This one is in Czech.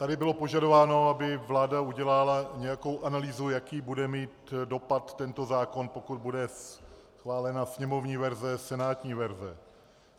Tady bylo požadováno, aby vláda udělala nějakou analýzu, jaký bude mít dopad tento zákon, pokud bude schválena sněmovní verze, senátní verze.